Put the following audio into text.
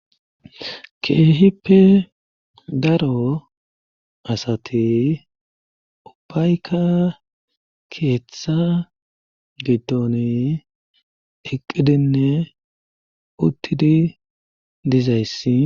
keehippe daro asate ubbayka keethetha gitoni eqqidinne uttidi dizayssi